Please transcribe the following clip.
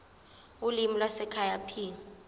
ulimi lwasekhaya p